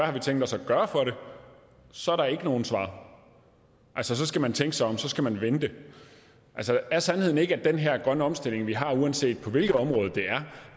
har tænkt sig at gøre for det så er der ikke nogen svar så skal man tænke sig om og så skal man vente altså er sandheden ikke at den her grønne omstilling vi har uanset på hvilket område det er